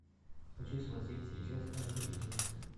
хочу смотреть сейчас орел и решка